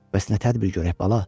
Bəs nə tədbir görək, bala?